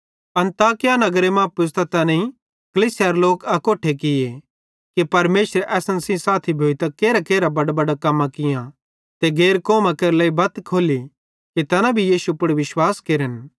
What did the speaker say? अन्ताकिया नगरे मां पुज़तां तैनेईं कलीसियारे लोक अकोट्ठे किये कि परमेशरे असन सेइं साथी भोइतां केरहांकेरहां बडां कम्मां कियां ते गैर कौमां केरे लेइ बत्त खोल्ली कि तैना भी यीशु पुड़ विश्वास केरन